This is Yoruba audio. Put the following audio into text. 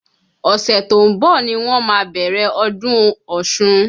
Ọ̀sẹ̀ t'ó ń bọ̀ ni wọ́n má a bẹ̀rẹ̀ ọdún Ọ̀ṣun.